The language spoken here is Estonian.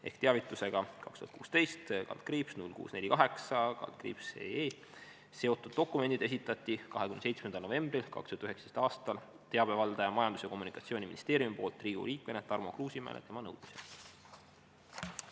Ehk teavitusega 2016/0648/EE seotud dokumendid esitati 27. novembril 2019. aastal teabevaldaja Majandus- ja Kommunikatsiooniministeeriumi poolt Riigikogu liikmele Tarmo Kruusimäele tema nõudmisel.